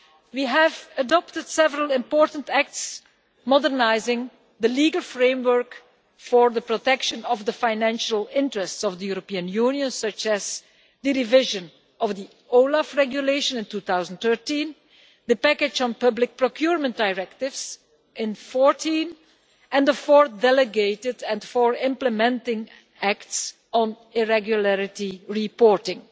We have adopted several important acts modernising the legal framework for the protection of the financial interests of the European Union such as the revision of the OLAF regulation in 2013, the package on public procurement directives in 2014 and the four delegated and four implementing acts on irregularity reporting.